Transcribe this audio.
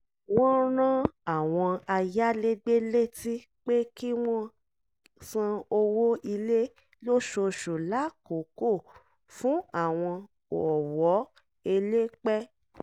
wọ́n rán àwọn ayálégbé létí pé kí wọ́n san owó ilé lóṣooṣù lákòókò fún àwọn ọ̀wọ́ elépẹ́